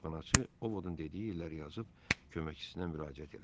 Kitabxanaçı O Vodun dediyi illəri yazıb köməkçisinə müraciət elədi.